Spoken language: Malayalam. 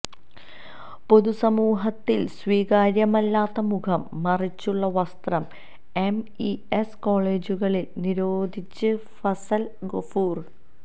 പൊതുസമൂഹത്തിന് സ്വീകാര്യമല്ലാത്ത മുഖം മറച്ചുള്ള വസ്ത്രം എംഇഎസ് കോളേജുകളിൽ നിരോധിച്ച് ഫസൽ ഗഫൂർ